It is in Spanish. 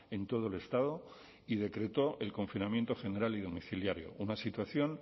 en todo el estado y decretó el confinamiento general y domiciliario una situación